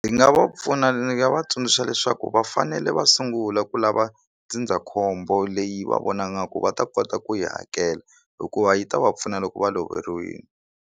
Ndzi nga va pfuna ni nga va tsundzuxa leswaku va fanele va sungula ku lava ndzindzakhombo leyi va vonaka nga ku va ta kota ku yi hakela hikuva yi ta va pfuna loko va loveriwile.